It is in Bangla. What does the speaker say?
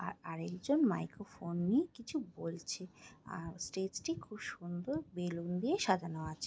আর আরেকজন মাইক্রোফোন নিয়ে কিছু বলছে আর স্টেজ টি খুব সুন্দর বেলুন দিয়ে সাজানো আছে।